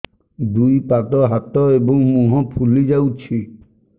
ଦୁଇ ପାଦ ହାତ ଏବଂ ମୁହଁ ଫୁଲି ଯାଉଛି